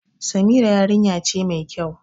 Samira yarinya ce ma kyau